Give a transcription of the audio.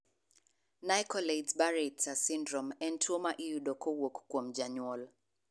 Nicolaides Baraitser syndrome en tuo ma iyudo kowuok kuom janyuol.